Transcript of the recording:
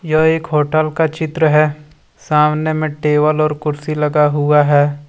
यह एक होटल का चित्र है सामने में टेबल और कुर्सी लगा हुआ है।